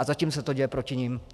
A zatím se to děje proti nim!